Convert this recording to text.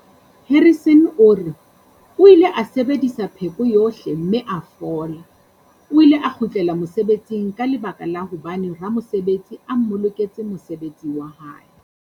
Harrison o re, "O ile a sebedisa pheko yohle mme a fola. O ile a kgutlela mose betsing ka lebaka la hobane ramosebetsi a mmoloketse mosebetsi wa hae".